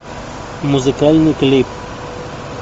музыкальный клип